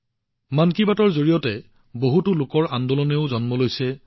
মন কী বাতৰ জৰিয়তে বহুতো গণ আন্দোলনৰ সৃষ্টি হৈছে আৰু গতি লাভ কৰিছে